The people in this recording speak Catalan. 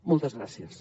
moltes gràcies